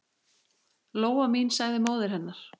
Lóa mín, sagði móðir hennar.